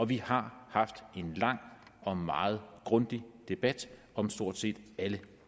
vi har haft en lang og meget grundig debat om stort set alle